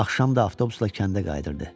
Axşam da avtobusla kəndə qayıdırdı.